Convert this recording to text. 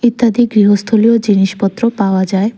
ইত্যাদি গৃহস্থলীয় জিনিসপত্র পাওয়া যায়।